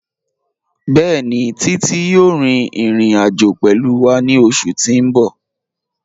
Bẹẹ̀ni, Títí yòò rín ìrìn-àjọ̀ pẹ̀lú wà ní ọṣù tí n bọ̀.